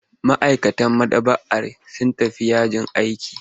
Ma'aikatan maɗaba'ar sun tafi yajin aiki.